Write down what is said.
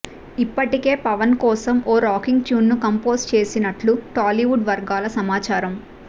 ఇప్పటికే పవన్ కోసం ఓ రాకింగ్ ట్యూన్ని కంపోజ్ చేసినట్లు టాలీవుడ్ వర్గాల సమాచారం